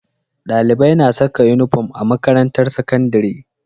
Dalibai na Saka inufom a makarantar sakandari